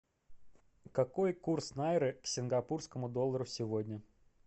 какой курс найры к сингапурскому доллару сегодня